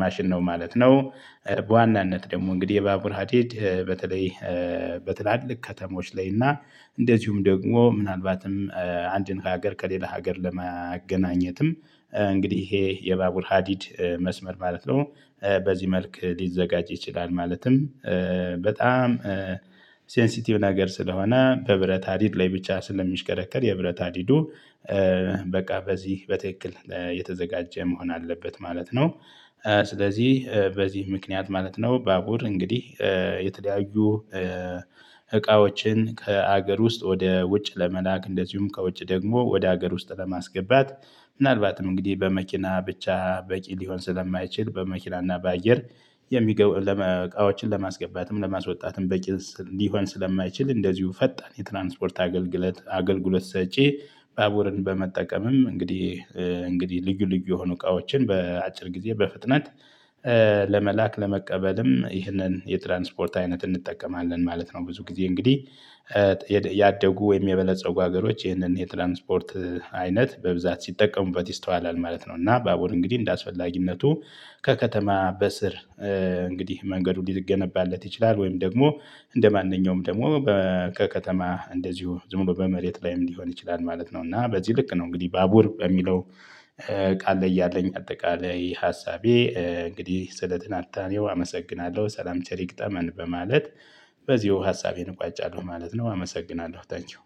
ማሽን ነው ማለት ነው። በዋናነት ደግሞ እንግዲህ የባቡር ሀዲድ በተለይ በትላልቅ ከተሞች ላይ እና እንደዚሁም ደግሞ ምናልባትም አንድን ሀገር ከሌላ ሀገር ለማገናኘትም እንግዲህ ይሄ የባቡር ሀዲድ መስመር ማለት ነው በዚህ መልክ ሊዘጋጅ ይችላል። ማለትም በጣም ነገር ስለሆነ በብረት ሀዲድ ላይ ብቻ ስለሚሽከረከር የብረት ሃዲዱ በቃ በዚህ በትክክል የተዘጋጀ መሆን አለበት ማለት ነው። ስለዚህ በዚህ ምክንያት ማለት ነው ባቡር እንግዲህ የተለያዩ እቃዎችን ከሀገር ውስጥ ወደ ውጭ ለመላክ እንደዚሁም ከውጭ ደግሞ ወደ ሀገር ውስጥ ለማስገባት። ምናልባትም እንግዲህ በመኪና ብቻ በቂ ሊሆን ስለማይችል በመኪና እና በአየር የሚገቡ እቃዎችን ለማስገባትም ለማስወጣትም በቂ ሊሆን ስለማይችል እንደዚሁ ፈጣን የትራንስፖርት አገልግሎት አገልግሎት ሰጪ ባቡርን በመጠቀምም እንግዲህ እንግዲህ ልዩ ልዩ የሆኑ እቃዎችን በአጭር ጊዜ በፍጥነት ለመላክ ለመቀበልም ይህንን የትራንስፖርት አይነት እንጠቀማለን ማለት ነው። ብዙ ጊዜ እንግዲህ ያደጉ ወይም የበለፀጉ ሀገሮች ይህንን የትራንስፖርት አይነት በብዛት ሲጠቀሙበት ይስተዋላል ማለት ነው። እና ባቡር እንግዲህ እንደአስፈላጊነቱ ከከተማ በስር እንግዲህ መንገዱ ሊገነባለት ይችላል ወይም ደግሞ እንደማንኛውም ደግሞ ከከተማ እንደዚሁ ዝም ብሎ በመሬት ላይም ሊሆን ይችላል ማለት ነው። እና በዚህ ልክ ነው እንግዲህ ባቡር በሚለው ቃል ላይ ያለኝ አጠቃላይ ሀሳቤ እንግዲህ ስለትንታኔው አመሰግናለሁ ሰላም ቸር ይግጠመን በማለት በዚሁ ሀሳቤን እቋጫለሁ ማለት ነው። አመሰግናለሁ ታንኪው